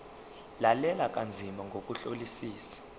lalela kanzima ngokuhlolisisa